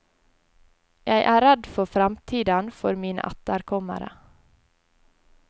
Jeg er redd for fremtiden for mine etterkommere.